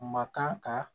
Ma kan ka